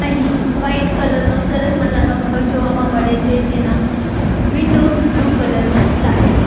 અહીં white colour નો સરસ મજાનો ઘર જોવામાં મળે છે જેના વિન્ડોઝ બ્લુ કલર ના લાગે છે.